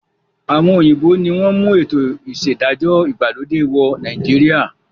Àwọn òyìnbó ni wọn mú ètò ìṣedájọ́ ìgbàlódé wọ̀ Nàìjíríà